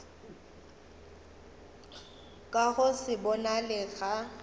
ka go se bonale ga